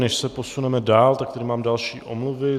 Než se posuneme dál, tak tady mám další omluvy.